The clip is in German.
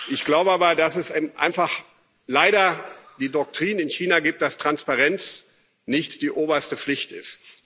Ich glaube aber, dass es eben einfach leider die Doktrin in China gibt, dass Transparenz nicht die oberste Pflicht